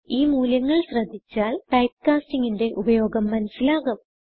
ഈ മൂല്യങ്ങൾ ശ്രദ്ധിച്ചാൽ ടൈപ്പ്കാസ്റ്റിംഗ് ന്റെ ഉപയോഗം മനസിലാകും